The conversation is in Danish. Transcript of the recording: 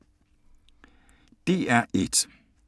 DR1